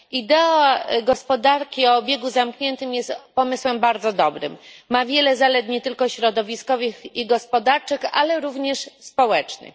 Idea gospodarki o obiegu zamkniętym jest pomysłem bardzo dobrym, ma wiele zalet nie tylko środowiskowych i gospodarczych, ale również społecznych.